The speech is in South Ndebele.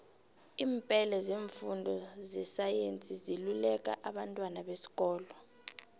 iimpele zeenfundo zesayensi ziluleka abantwana besikolo